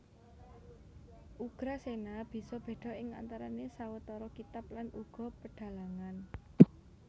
Ugrasena bisa béda ing antarané sawetara kitab lan uga pedhalangan